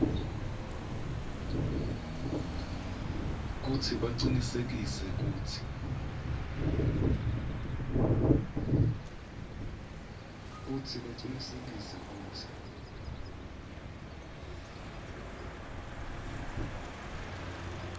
kutsi bacinisekise kutsi